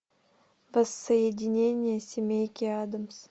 воссоединение семейки адамс